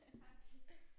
Tak